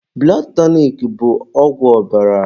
Bụlọd tọnik bụ ọgwụ ọbara